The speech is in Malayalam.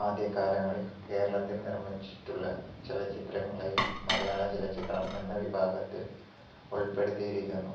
ആദ്യ കാലങ്ങളിൽ കേരളത്തിൽ നിർമിച്ചിട്ടുള്ള ചലച്ചിത്രങ്ങളെയും മലയാള ചലച്ചിത്രം എന്ന വിഭാഗത്തിൽ ഉൾപ്പെടുത്തിയിരിക്കുന്നു